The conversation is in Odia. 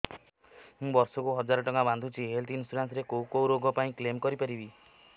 ମୁଁ ବର୍ଷ କୁ ହଜାର ଟଙ୍କା ବାନ୍ଧୁଛି ହେଲ୍ଥ ଇନ୍ସୁରାନ୍ସ ରେ କୋଉ କୋଉ ରୋଗ ପାଇଁ କ୍ଳେମ କରିପାରିବି